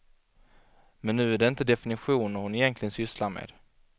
Men nu är det inte definitioner hon egentligen sysslar med.